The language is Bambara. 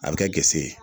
A bɛ kɛ gese ye